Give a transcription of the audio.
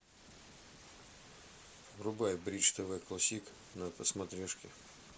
врубай бридж тв классик на смотрешке